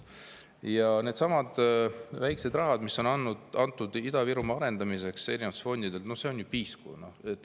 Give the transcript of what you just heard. Ja need väikesed rahad, mis on erinevatest fondidest antud Ida-Virumaa arendamiseks – no see on piisk.